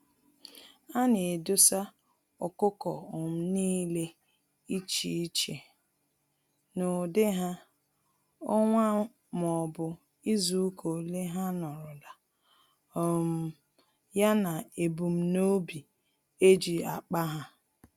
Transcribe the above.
Ana edosa ọkụkọ um nile iche iche; n'ụdị ha, ọnwa m'obu izuka ole ha nọrọla, um ya na ebum nobi eji akpa há.